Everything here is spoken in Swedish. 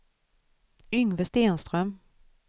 Yngve Stenström